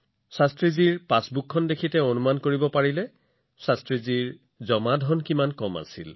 তেওঁ শাস্ত্ৰীজীৰ পাছবুকখনো দেখিছিল আৰু প্ৰত্যক্ষ কৰিছিল যে তেওঁৰ সঞ্চয় কিমান কম আছিল